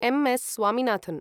M. S. Swaminathan